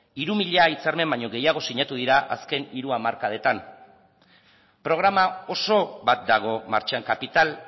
hiru mila hitzarmen baino gehiago sinatu dira azken hiru hamarkadetan programa oso bat dago martxan kapital